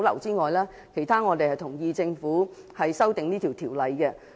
就其他方面，我們同意政府修訂這項條例。